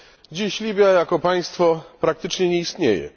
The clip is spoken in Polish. Dziś Libia jako państwo praktycznie nie istnieje.